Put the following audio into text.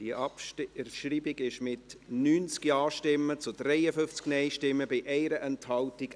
Die Abschreibung ist ebenfalls angenommen worden, mit 90 Ja- zu 53 Nein-Stimmen bei 1 Enthaltung.